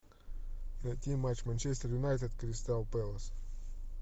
найти матч манчестер юнайтед кристал пэлас